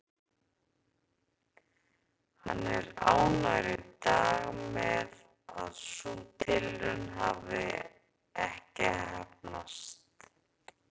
Hann er ánægður í dag með að sú tilraun hafi ekki heppnast.